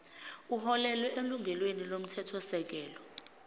uholele elungelweni lomthethosisekelo